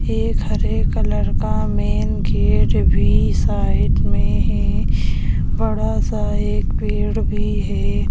एक हरे कलर का मेन गेट भी साइड में है बड़ा सा एक पेड़ भी है।